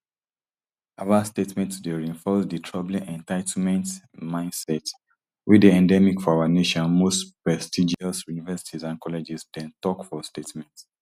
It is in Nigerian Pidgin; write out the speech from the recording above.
harvard statement today reinforce di troubling entitlement mindset wey dey endemic for our nation most prestigious universities and colleges dem tok for statement